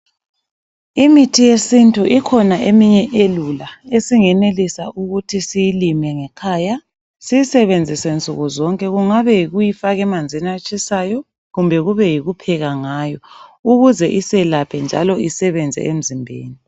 Imithi yesintu ikhona eminye elula esingenelisa ukuthi siyilime ngekhaya siyisebenzise nsuku zonke kungabe yikuyi faka emanzini atshisayo kumbe yikupheka ngayo ukuze isiyelaphe njalo isebenze emzimbeni.